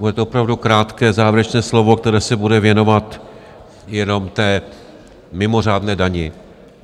Bude to opravdu krátké závěrečné slovo, které se bude věnovat jenom té mimořádné dani.